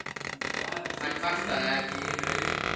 Hann kvartaði ekki yfir augum hennar.